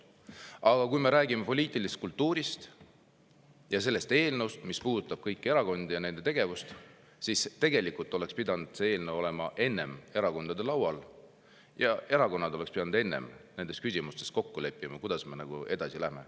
Aga kui me räägime poliitilisest kultuurist ja sellest eelnõust, mis puudutab kõiki erakondi ja nende tegevust, siis tegelikult oleks pidanud see eelnõu olema enne erakondade laual ja erakonnad oleks pidanud enne nendes küsimustes, kuidas me edasi läheme, kokku leppima.